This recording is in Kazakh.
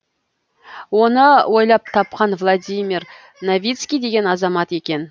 оны ойлап тапқан владимир новицкий деген азамат екен